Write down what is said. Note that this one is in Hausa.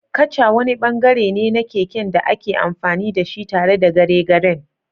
Kacha wani bangare ne na keken da ake amfani da shi tare da garegaren.